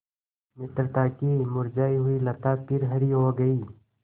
मित्रता की मुरझायी हुई लता फिर हरी हो गयी